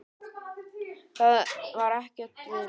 Það var ekkert, vinan.